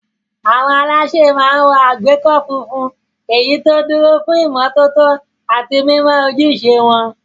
Àwọn alásè máa ń wọ àgbékọ́ funfun, èyí tó dúró fún ìmọ́tótó àti mímọ ojúṣe wọn.